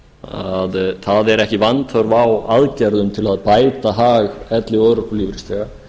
að það er ekki vanþörf á aðgerðum til að bæta hag elli og örorkulífeyrisþega